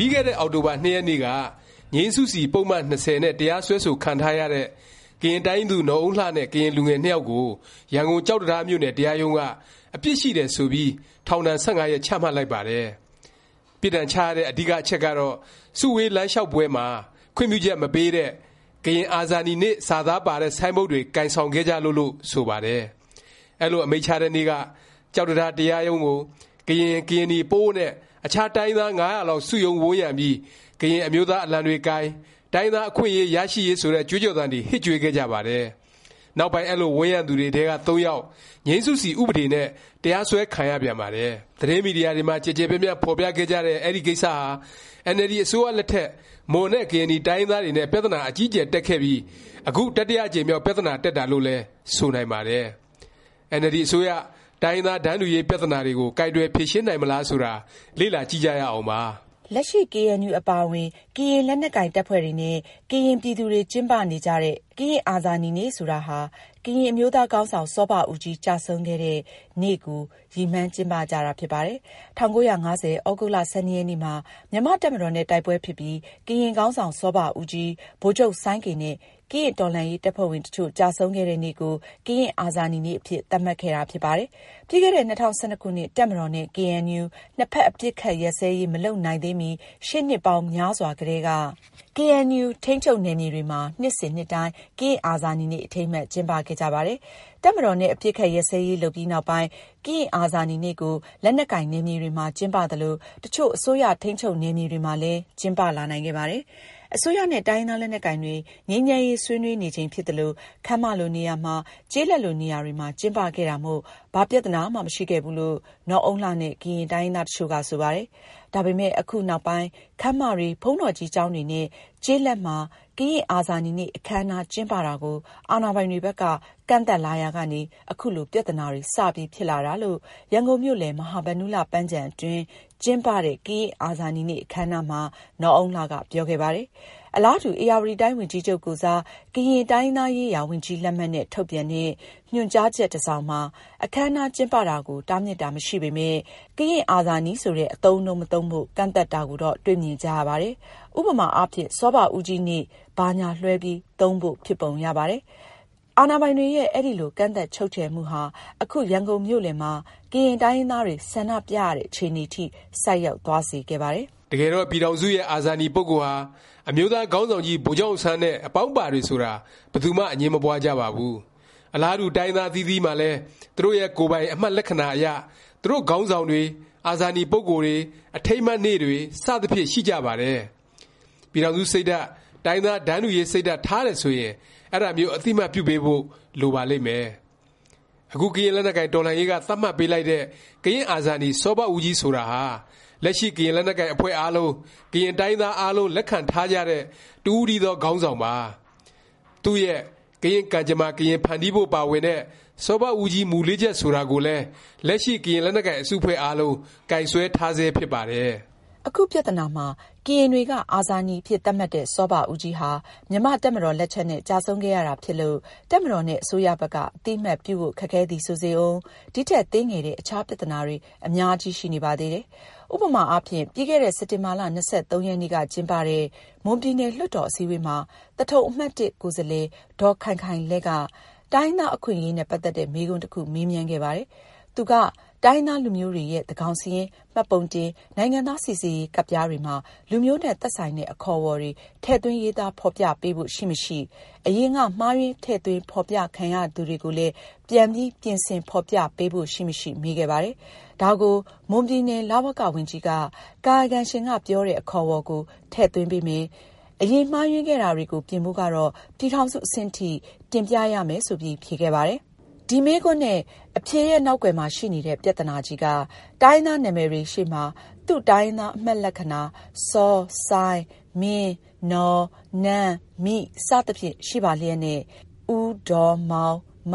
ပြီးခဲ့တဲ့ အောက်တိုဘာ ၂ ရက်နေ့က ငြိမ်းစုစီ ပုဒ်မ ၂၀ နဲ့ တရားစွဲဆို ခံထားရတဲ့ ကရင်တိုင်းရင်းသူ နော်အုန်းလှနဲ့ ကရင် လူငယ်နှစ်ယောက်ကို ရန်ကုန် ကျောက်တံတားမြို့နယ် တရားရုံးက အပြစ်ရှိတယ် ဆိုပြီး ထောင်ဒဏ် ၁၅ ရက် ချမှတ်လိုက်ပါတယ်။ ပြစ်ဒဏ်ချရတဲ့ အဓိက အချက်ကတော့ စုဝေးလမ်းလျောက်ပွဲမှာ ခွင့်ပြုချက် မပေးတဲ့ “ ကရင်အာဇာနည်နေ့” စာသားပါတဲ့ ဆိုင်းဘုတ်တွေ ကိုင်ဆောင်ခဲ့ကြလို့ လို့ ဆိုပါတယ်။ အဲလို အမိန့်ချတဲ့နေ့က ကျောက်တံတား တရားရုံးကို ကရင်၊ ကရင်နီ၊ ပအို့ဝ် နဲ့ အခြားတိုင်းရင်းသား ၅၀၀ လောက် စုရုံးဝန်းရံပြီး ကရင်အမျိုးသား အလံတွေကိုင် တိုင်းရင်းသား အခွင့်အရေး ရရှိရေး ဆိုတဲ့ ကြွေးကြော်သံတွေ ဟစ်ကြွေးခဲ့ကြပါတယ်။ နောက်ပိုင်း အဲလို ဝန်းရံသူတွေထဲက ၃ ယောက် ငြိမ်းစုစီ ဥပဒေနဲ့ တရားစွဲခံရပြန်ပါတယ်။ သတင်းမီဒီယာတွေမှာ ကျယ်ကျယ်ပြန့်ပြန့် ဖော်ပြခဲ့ကြတဲ့ ဒီ ကိစ္စဟာ အင်န်အယ်လ်ဒီ အစိုးရလက်ထက် မွန်နဲ့ ကရင်နီ တိုင်းရင်းသားတွေနဲ့ ပြသနာအကြီးအကျယ် တက်ခဲ့ပြီး အခု တတိယအကြိမ်မြောက် ပြသနာတက်တာလို့လည်း ဆိုနိုင်ပါတယ်။ အင်န်အယ်လ်ဒီ အစိုးရ တိုင်းရင်းသား တန်းတူရေး ပြသနာတွေကို ကိုင်တွယ် ဖြေရှင်းနိုင်မလား ဆိုတာ လေ့လာကြည့်ကြရအောင်ပါ။ လက်ရှိ KNU အပါအဝင် ကရင်လက်နက်ကိုင် တပ်ဖွဲ့တွေနဲ့ ကရင်ပြည်သူတွေ ကျင်းပနေကြတဲ့ ကရင့် အာဇာနည်နေ့ ဆိုတာဟာ ကရင်အမျိုးသားခေါင်းဆောင် စောဘဦးကြီး ကျဆုံးခဲ့တဲ့ နေ့ကို ရည်မှန်းကျင်းပကြတာ ဖြစ်ပါတယ်။ ၁၉၅၀ သြဂုတ်လ ၁၂ ရက်နေ့မှာ မြန်မာ့တပ်မတော်နဲ့ တိုက်ပွဲဖြစ်ပြီး ကရင်ခေါင်းဆောင် စောဘဦးကြီး၊ ဗိုလ်ချုပ် စိုင်းကေ နဲ့ ကရင့်တော်လှန်ရေး တပ်ဖွဲ့ဝင် တစ်ချို့ ကျဆုံးခဲ့တဲ့ နေ့ကို ကရင့်အာဇာနည်နေ့ အဖြစ် သတ်မှတ်ခဲ့တာ ဖြစ်ပါတယ်။ ပြီးခဲ့တဲ့ ၂၀၁၂ ခုနှစ်၊ တပ်မတော် နဲ့ KNU နှစ်ဖက် အပစ်အခတ် ရပ်စဲရေး မလုပ်နိုင်သေးမီ ရှေ့နှစ်ပေါင်းများစွာကတည်းက ကေအဲန်ယူ ထိန်းချုပ်နယ်မြေတွေမှာ နှစ်စဉ် နှစ်တိုင်း ကရင့်အာဇာနည်နေ့ အထိမ်းအမှတ် ကျင်းပခဲ့ကြပါတယ်။ တပ်မတော် နဲ့ အပစ်အခတ်ရပ်စဲရေး လုပ်ပြီးနောက်ပိုင်း ကရင့်အာဇာနည်နေ့ကို လက်နက်ကိုင် နယ်မြေတွေမှာ ကျင်းပသလို၊ တစ်ချို့ အစိုးရထိန်းချုပ်နယ်မြေတွေမှာလည်း ကျင်းပလာနိုင်ခဲ့ပါတယ်။ အစိုးရနဲ့ တိုင်းရင်းသား လက်နက်ကိုင်တွေ ငြိမ်းချမ်းရေး ဆွေးနွေးနေချိန် ဖြစ်သလို ခန်းမလို နေရာမှာ၊ ကျေးလက်လို နေရာတွေမှာ ကျင်းပခဲ့တာမို့ ဘာပြသနာမှ မရှိခဲ့ဘူးလို့ နော်အုန်းလှနဲ့ ကရင်တိုင်းရင်းသား တစ်ချို့က ဆိုပါတယ်။ ဒါပေမယ့် အခုနောက်ပိုင်း ခန်းမတွေ၊ ဘုန်းတော်ကြီး ကျောင်းတွေနဲ့ ကျေးလက်မှာ ကရင်အာဇာနည်နေ့ အခန်းအနား ကျင်းပတာကို အာဏာပိုင်တွေ ဘက်က ကန့်သတ်လာရာကနေ ခုလို ပြသနာတွေ စပြီး ဖြစ်လာတာလို့ ရန်ကုန်မြို့လယ် မဟာဗန္ဓုလ ပန်းခြံအတွင်း ကျင်းပတဲ့ ကရင့်အာဇာနည်နေ့ အခန်းအနားမှာ နော်အုန်းလှက ပြောခဲ့ပါတယ်။ အလားတူ ဧရာဝတီတိုင်း ဝန်ကြီးချုပ်ကိုယ်စား ကရင်တိုင်းရင်းသားရေးရာ ဝန်ကြီးလက်မှတ်နဲ့ ထုတ်ပြန်တဲ့ ညွှန်ကြားချက် တစ်စောင်မှာ အခန်းအနား ကျင်းပမှာကို တားမြစ်တာ မရှိပေမယ့် “ ကရင်အာဇာနည် ” ဆိုတဲ့ အသုံးအနှုန်း မသုံးဖို့ ကန့်သတ်တာကိုတော့ တွေ့မြင်ကြရပါတယ်။ ဥပမာအားဖြင့် စောဘဦးကြီးနေ့ ဘာညာ လွဲှပြီး သုံးဖို့ ဖြစ်ပုံရပါတယ်။ အာဏာပိုင်တွေရဲ့ အဲလို ကန့်သတ်ချုပ်ခြယ်မှုဟာ အခု ရန်ကုန်မြို့လည်မှာ ကရင်တိုင်းရင်းသားတွေ ဆန္ဒပြရတဲ့ အခြေအနေထိ ဆိုက်ရောက်သွားစေခဲ့ပါတယ်။ တကယ်တော့ ပြည်ထောင်စုရဲ့ အာဇာနည် ပုဂ္ဂိုလ်ဟာ အမျိုးသားခေါင်းဆောင်ကြီး ဗိုလ်ချုပ်အောင်ဆန်း နဲ့ အပေါင်းအပါတွေဆိုတာ ဘယ်သူမှ အငြင်းမပွားကြပါဘူး။ အလားတူ တိုင်းရင်းသား အသီးသီးမှာလည်း သူတို့ရဲ့ ကိုယ်ပိုင် အမှတ်လက္ခဏာအရ သူတို့ခေါင်းဆောင်တွေ၊ အာဇာနည် ပုဂ္ဂိုလ်တွေ၊ အထိမ်းအမှတ်နေ့တွေ စသဖြင့် ရှိကြပါတယ်။ ပြည်ထောင်စု စိတ်ဓာတ်၊ တိုင်းရင်းသား တန်းတူရေး စိတ်ဓာတ် ထားတယ်ဆိုရင် အဲဒါမျိုး အသိအမှတ်ပြုပေးဖို့ လိုပါလိမ့်မယ်။ အခု ကရင့်လက်နက်ကိုင် တော်လှန်ရေးက သတ်မှတ်ပေးလိုက်တဲ့ ကရင့်အာဇာနည် စောဘဦးကြီး ဆိုတာဟာ လက်ရှိ ကရင်လက်နက်ကိုင် အဖွဲ့အားလုံး၊ ကရင် တိုင်းရင်းသား အားလုံး လက်ခံထားကြတဲ့ တစ်ဦးတည်းသော ခေါင်းဆောင်ပါ။ သူ့ရဲ့ ကရင့်ကံကြမ္မာ ကရင်ဖန်တီးဖို့ ပါဝင်တဲ့ စောဘဦးကြီး မူလေးချက် ဆိုတာကိုလည်း လက်ရှိ ကရင်လက်နက်ကိုင် အစုအဖွဲ့ အားလုံး ကိုင်စွဲထားဆဲ ဖြစ်ပါတယ်။ အခုပြသနာမှာ ကရင်တွေက အာဇာနည်အဖြစ် သတ်မှတ်တဲ့ စောဘဦးကြီးဟာ မြန်မာ့တပ်မတော် လက်ချက်နဲ့ ကျဆုံးခဲ့ရတာ ဖြစ်လို့ တပ်မတော်နဲ့ အစိုးရဘက်က အသိအမှတ်ပြုဖို့ ခက်ခဲသည် ဆိုစေဦး၊ ဒီထက် သေးငယ်တဲ့ အခြား ပြသနာတွေ အများကြီးရှိနေပါသေးတယ်။ ဥပမာအားဖြင့် ပြီးခဲ့တဲ့ စက်တင်ဘာ ၂၃ ရက်နေ့က ကျင်းပတဲ့ မွန်ပြည်နယ် လွှတ်တော် အစည်းအဝေးမှာ သထုံ အမှတ်(၁) ကိုယ်စားလှယ် ဒေါ်ခိုင်ခိုင်လဲ့က တိုင်းရင်းသား အခွင့်အရေးနဲ့ ပတ်သက်တဲ့ မေးခွန်းတစ်ခု မေးမြန်းခဲ့ပါတယ်။ သူက တိုင်းရင်းသား လူမျိုးတွေရဲ့ သန်းခေါင်စာရင်း၊ မှတ်ပုံတင်၊ နိုင်ငံသား စိစစ်ရေးကဒ်ပြား တွေမှာ လူမျိုးနဲ့ သက်ဆိုင်တဲ့ အခေါ်အဝေါ်တွေ ထည့်သွင်းရေးသား ဖော်ပြပေးဖို့ ရှိမရှိ၊ အရင်က မှားယွင်း ထည့်သွင်းဖော်ပြခံရသူတွေကိုလည်း ပြန်ပြီး ပြင်ဆင် ဖော်ပြပေးဖို့ ရှိမရှိ မေးခဲ့ပါတယ်။ ဒါကို မွန်ပြည်နယ် လဝက ဝန်ကြီးက ကာယကံရှင်က ပြောတဲ့ အခေါ်အဝေါ်ကို ထည့်သွင်းပေးမယ်၊ အရင် မှားယွင်းခဲ့တာတွေကို ပြင်ဖို့ကတော့ ပြည်ထောင်စု အဆင့်အထိ တင်ပြရမယ် ဆိုပြီး ဖြေခဲ့ပါတယ်။ ဒီမေးခွန်းနဲ့ အဖြေရဲ့ နောက်ကွယ်မှာ ရှိနေတဲ့ ပြသနာကြီးက တိုင်းရင်းသား နာမည်တွေ ရှေ့မှာ သူ့တိုင်းရင်းသား အမှတ်လက္ခဏာ စော၊ စိုင်း၊ မင်း၊ နော်၊ နန်း၊ မိ စသဖြင့် ရှိပါလျက်သားနဲ့ ဦး၊ ဒေါ်၊ မောင်၊ မ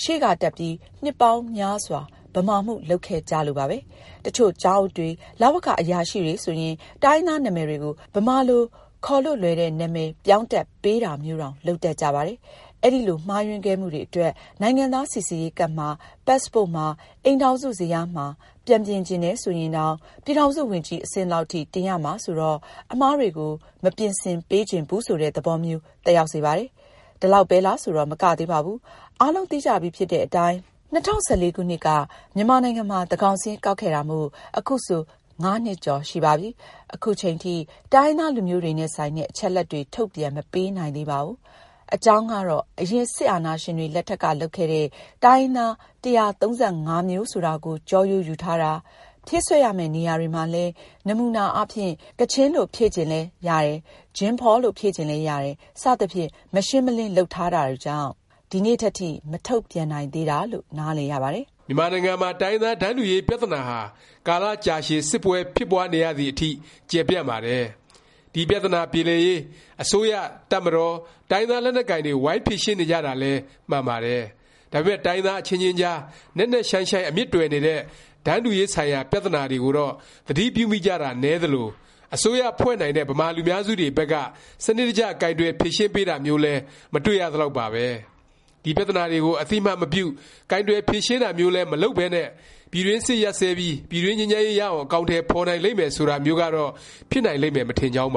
ရှေ့က တပ်ပြီး နှစ်ပေါင်းများစွာ ဗမာမှု လုပ်ခဲ့ကြလို့ပါပဲ။ တစ်ချို့ ကျောင်းအုပ်တွေ၊ လဝက အရာရှိတွေဆိုရင် တိုင်းရင်းသား နာမည်တွေကို ဗမာလို ခေါ်လို့လွယ်တဲ့ နာမည် ပြောင်းတပ်ပေးတာမျိုးတောင် လုပ်တတ်ကြပါတယ်။ အဲလို မှားယွင်းခဲ့မှုတွေ အတွက် နိုင်ငံသား စိစစ်ရေးကဒ်မှာ၊ Passport မှာ၊ အိမ်ထောင်စုဇယားမှာ ပြန်ပြင်ချင်တယ် ဆိုရင်တောင် ပြည်ထောင်စု ဝန်ကြီး အဆင့်လောက်အထိ တင်ရမှာ ဆိုတော့ အမှားတွေကို မပြင်ဆင်ပေးချင်ဘူး ဆိုတဲ့ သဘောမျိုး သက်ရောက်စေပါတယ်။ ဒါလောက်ပဲလား ဆိုတော့ မကသေးပါဘူး။ အားလုံးသိကြပြီးဖြစ်တဲ့အတိုင်း ၂၀၁၄ ခုနှစ်က မြန်မာနိုင်ငံမှာ သန်းခေါင်စာရင်း ကောက်ခဲ့တာမို့ ခုဆို ၅ နှစ်ကျော်ရှိပါပြီ။ ခုချိန်ထိ တိုင်းရင်းသား လူမျိုးတွေနဲ့ ဆိုင်တဲ့ အချက်အလက်တွေ ထုတ်ပြန်မပေးနိုင်သေးပါဘူး။ အကြောင်းကတော့ အရင် စစ်အာဏာရှင်တွေ လက်ထက်က လုပ်ခဲ့တဲ့ တိုင်းရင်းသား ၁၃၅ မျိုးဆိုတာကို ကျောရိုးယူထားတာ၊ ဖြည့်စွက်ရမယ့် နေရာတွေမှာလည်း နမူနာအားဖြင့် ကချင်လို့ ဖြည့်ချင်လည်းရတယ်၊ ဂျင်းဖေါလို့ ဖြည့်ချင်လည်း ရတယ် စသဖြင့် မရှင်းမလင်း လုပ်ထားတာတွေကြောင့် ဒီနေ့ထက်ထိ မထုတ်ပြန်နိုင်သေးတာလို့ နားလည်ရပါတယ်။ မြန်မာနိုင်ငံမှာ တိုင်းရင်းသား တန်းတူရေး ပြသနာဟာ ကာလကြာရှည် စစ်ပွဲ ဖြစ်ပွားနေရသည် အထိ ကျယ်ပြန့်ပါတယ်။ ဒီ ပြသနာပြေလည်ရေး အစိုးရ၊ တပ်မတော်၊ တိုင်းရင်းသား လက်နက်ကိုင်တွေ ဝိုင်းဖြေရှင်းနေကြတာလည်း မှန်ပါတယ်။ ဒါပေမယ့် တိုင်းရင်းသား အချင်းချင်းကြား နက်နက်ရှိုင်းရှိုင်း အမြစ်တွယ်နေတဲ့ တန်းတူရေး ဆိုင်ရာ ပြသနာတွေကိုတော့ သတိပြုမိကြတာ နည်းသလို၊ အစိုးရဖွဲ့နိုင်တဲ့ ဗမာလူများစုတွေဘက်က စနစ်တကျ ကိုင်တွယ်ဖြေရှင်းပေးတာမျိုးလည်း မတွေ့ရသလောက်ပါပဲ။ ဒီ ပြသနာတွေကို အသိအမှတ်မပြု၊ ကိုင်တွယ် ဖြေရှင်းတာမျိုးလည်း မလုပ်ပဲနဲ့ ပြည်တွင်းစစ်ရပ်စဲပြီး ပြည်တွင်းငြိမ်းချမ်းရေး ရအောင် အကောင်အထည် ဖော်နိုင်လိမ့်မယ် ဆိုတာမျိုးကတော့ ဖြစ်နိုင်လိမ့်မယ် မထင်ကြောင်းပ